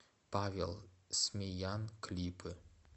павел смеян клипы